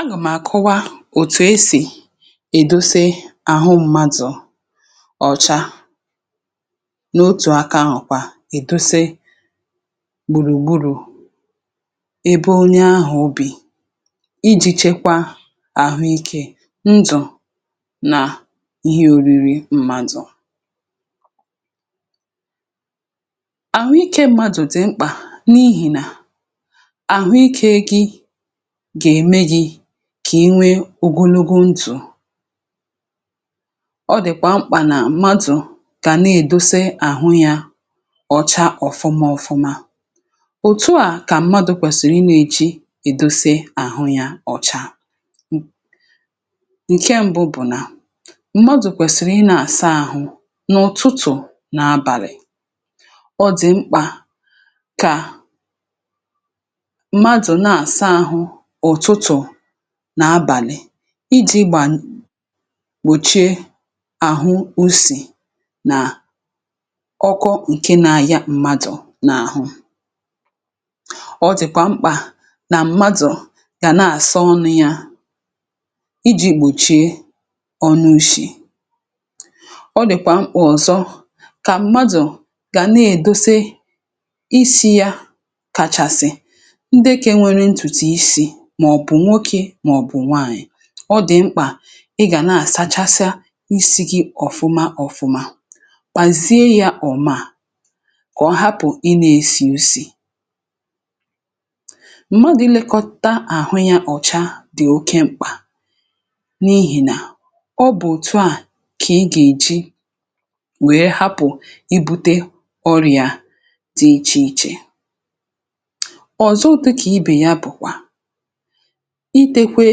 àgàm̀ àkọwa òtù esì èdose àhụ mmadụ̀ ọ̀cha n’otù aka. àhụ̀kwa èdose gbùrùgbùrù ebe onye ahụ̀ obì iji̇ chekwa àhụikė, um ndụ̀, nà ihe òriri mmadụ̀. àhụikė mmadụ̀ dì mkpà n’ihì nà kà inwe ogologo ntụ̀; ọ dị̀kwà mkpà nà mmadụ̀ kà na-èdose àhụ yȧ ọ̀cha ọ̀fụma ọ̀fụma. Òtù a kà mmadụ̇ kwèsìrì ị nȧ-eji̇ èdose àhụ yȧ ọ̀cha — ǹke mbụ̇ bụ̀ nà mmadụ̀ kwèsìrì ị nȧ-àsa àhụ n’ụ̀tụtụ̀ nà abàlị̀; ọ dị̀ mkpà kà nà abàlị̀ iji̇ gbà gbòchie àhụ usì nà ọkụ ǹke na ya m̀madụ̀ nà àhụ. Ọ dị̀kwà mkpà nà m̀madụ̀ gà na-àsọọnụ ya iji̇ gbòchie ọnụu̇shì. ọ dị̀kwà mkpà ọ̀zọ kà m̀madụ̀ gà na-èdose isi̇ ya kàchàsị̀, um màọ̀bụ̀ nwokė màọ̀bụ̀ nwaànyị̀; ọ dị̀ mkpà ị gà na-àsachasiȧ isi gị ọ̀fụma ọ̀fụma, kpàzie ya ọ̀mà, kà ọ hapụ̀ ị nȧ-esì usì. Mmadụ̀ ilėkọ̇ta àhụ ya ọ̀cha dị̀ oke mkpà n’ihìnà ọ bụ̀ òtu à kà ị gà-èji wère hapụ̀ i bute ọrị̀ȧ dị ichè ichè. Ọ̀zọ dịkà ibè ya, bụ̀kwà itekwe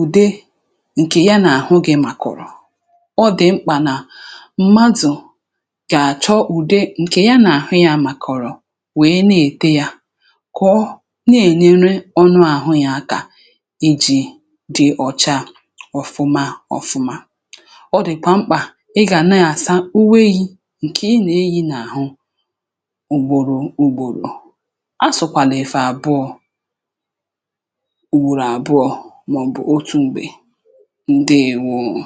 ude ǹkè ya n’àhụ gị, màkọ̀rọ̀ ọ dị̀ mkpà nà m̀madụ̀ gà-àchọ ùde ǹkè ya n’àhụ ya màkọ̀rọ̀, wèe na-ète ya kọọ, na-ènyere ọnụ àhụ ya aka ijì dị ọcha ọ̀fụma ọ̀fụma. Ọ dị̀kwà mkpà ị gà na-àsa uweghì ǹkè ị nà-eyi n’àhụ ugbòrò ugbòrò; a sụ̀kwàlà ẹ̀fẹ̀ àbụọ ọbụrụ àbụọ̇, màọ̀bụ̀ otù mgbe. ǹdėwoȯ.